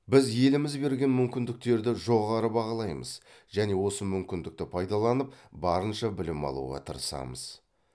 біз еліміз берген мүмкіндіктерді жоғары бағалаймыз және осы мүмкіндікті пайдаланып барынша білім алуға тырысамыз